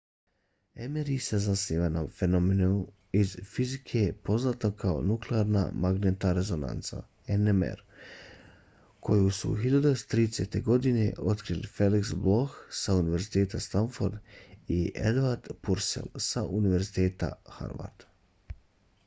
mri se zasniva na fenomenu iz fizike poznatom kao nuklearna magnetna rezonanca nmr koju su 1930-ih godina otkrili felix bloch sa univerziteta stanford i edward purcell sa univerziteta harvard